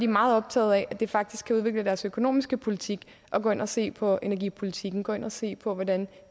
meget optaget af at de faktisk kan udvikle deres økonomiske politik og gå ind og se på energipolitikken gå ind og se på hvordan